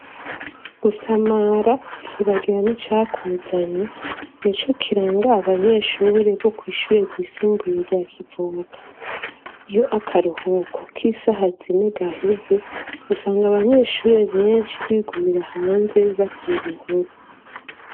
Gusamara ukibagira n'icakuzanye nico kiranga abanyeshure bo kwishure ryisumbuye rya Kivoga, iyo akaruhuko k'isaha zine gaheze usanga abanyeshure benshi bigumira hanze batera inkuru.